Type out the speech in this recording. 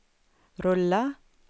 rulla